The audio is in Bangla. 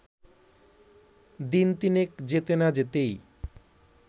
দিন তিনেক যেতে না-যেতেই